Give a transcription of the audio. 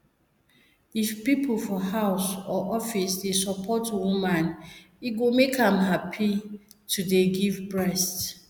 if people for house or office dey support woman e go make am dey happy to give breast